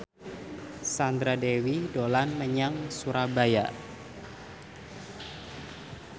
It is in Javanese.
Sandra Dewi dolan menyang Surabaya